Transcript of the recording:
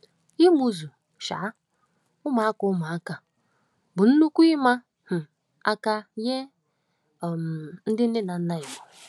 Ịmụ́zù um ụmụaka ụmụaka bụ nnukwu ị̀ma um aka nye um ndị nne na nna Igbo.